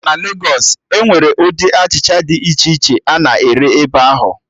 Na Legos, Enwere ụdị achịcha dị iche iche a na-ere ebe ahụ